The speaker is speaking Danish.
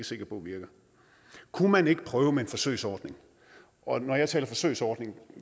sikker på virker kunne man ikke prøve med en forsøgsordning og når jeg taler forsøgsordning